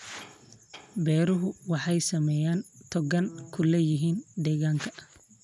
Beeruhu waxay saamayn togan ku leeyihiin deegaanka.